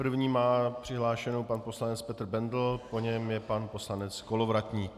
První má přihlášenu pan poslanec Petr Bendl, po něm je pan poslanec Kolovratník.